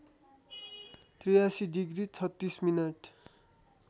८३ degree ३६ minute